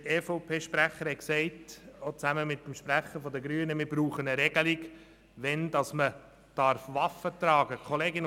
Der EVP-Sprecher sowie der Sprecher der Grünen sagten, wir bräuchten eine Regelung, wann man Waffen tragen dürfe.